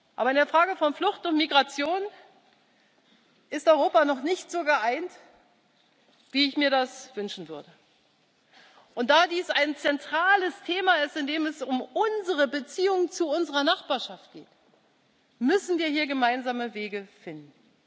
Aber in der Frage von Flucht und Migration ist Europa noch nicht so geeint, wie ich mir das wünschen würde. Und da dies ein zentrales Thema ist, in dem es um unsere Beziehung zu unserer Nachbarschaft geht, müssen wir hier gemeinsame Wege finden.